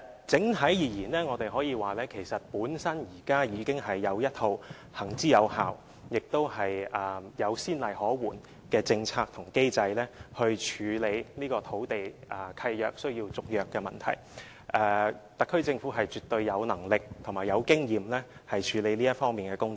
整體而言，我們可以說，現時已經有一套行之有效，也有先例可援的政策和機制，以處理土地契約續約的問題，特區政府絕對有能力及經驗處理這方面的工作。